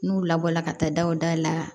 N'u labɔra ka taa daw da la